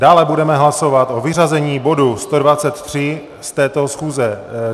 Dále budeme hlasovat o vyřazení bodu 123 z této schůze.